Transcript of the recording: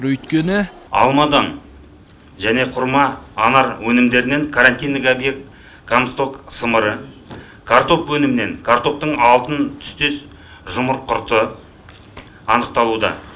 өйткені алмадан және құрма анар өнімдерінен карантиндік объект касток сымыры картоп өнімінен картоптың алтын түстес жұмыр құрты анықталуда